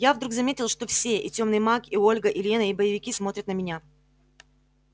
я вдруг заметил что все и тёмный маг и ольга и лена и боевики смотрят на меня